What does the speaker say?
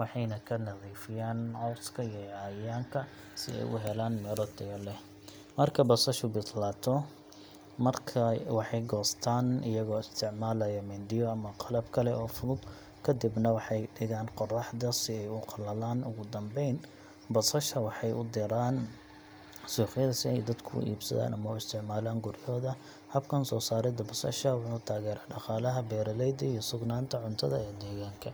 waxayna ka nadiifiyaan cawska iyo cayayaanka si ay u helaan miro tayo leh. Marka basashu bislaato, waxay goostaan iyagoo isticmaalaya mindiyo ama qalab kale oo fudud, kadibna waxay dhigaan qorraxda si ay u qalalaan. Ugu dambeyn, basasha waxay u diraan suuqyada si ay dadku u iibsadaan ama u isticmaalaan guryahooda. Habkan soo saaridda basasha wuxuu taageeraa dhaqaalaha beeraleyda iyo sugnaanta cuntada ee deegaanka.